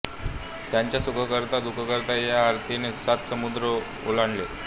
त्यांच्या सुखकर्ता दुखहर्ता या आरतीने सात समुद्र ओलांडले